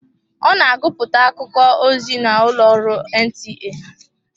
Ọ na agụpụta akụkọ ozi n'ụlọ ọrụ NTA.